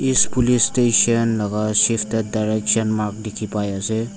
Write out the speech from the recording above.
east police station laga teh shifted te direction mark dikhi pai ase.